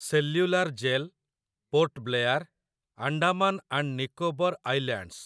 cellular Jail, Port Blair, Andaman and Nicobar islands